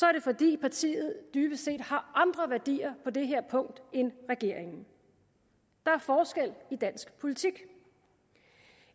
er det fordi partiet dybest set har andre værdier på det her punkt end regeringen der er forskel i dansk politik